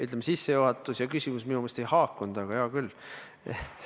Ütleme, et sissejuhatus ja küsimus minu meelest ei haakund, aga hea küll.